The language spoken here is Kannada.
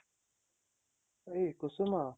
ಏ ಕುಸುಮಾ